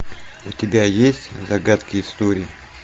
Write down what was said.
у тебя есть загадки истории